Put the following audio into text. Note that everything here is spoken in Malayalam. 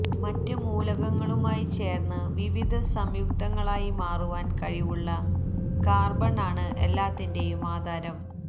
മറ്റ് മൂലകങ്ങളുമായി ചേര്ന്ന് വിവിധസംയുക്തങ്ങളായി മാറുവാന് കഴിവുള്ള കാര്ബണ് ആണ് എല്ലാത്തിന്റെയും ആധാരം